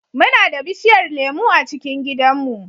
Muna da bishiyar lemu a cikin gidanmu.